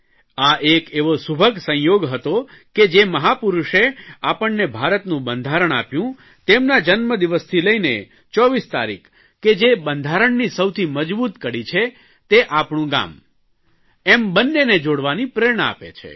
આ એક એવો સુભગ સંયોગ હતો કે જે મહાપુરૂષે આપણને ભારતનું બંધારણ આપ્યું તેમના જન્મદિવસથી લઇને 24 તારીખ કે જે બંધારણની સૌથી મજબૂત કડી છે તે આપણું ગામ એમ બન્નેને જોડવાની પ્રેરણા આપે છે